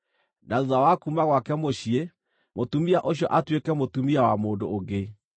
na thuutha wa kuuma gwake mũciĩ, mũtumia ũcio atuĩke mũtumia wa mũndũ ũngĩ,